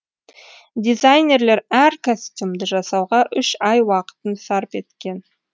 дизайнерлер әр костюмды жасауға үш ай уақытын сарп еткен